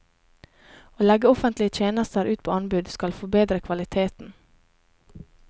Å legge offentlige tjenester ut på anbud skal forbedre kvaliteten.